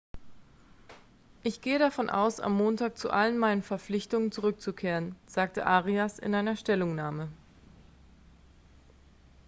ich gehe davon aus am montag zu allen meinen verpflichtungen zurückzukehren sagte arias in einer stellungnahme